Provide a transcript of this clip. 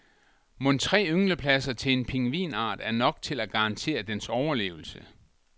Mon tre ynglepladser til en pingvinart er nok til at garantere dens overlevelse.